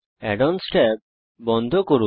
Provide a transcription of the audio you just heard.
add ons tab বন্ধ করুন